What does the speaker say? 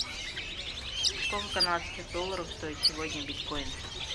сколько канадских долларов стоит сегодня биткоин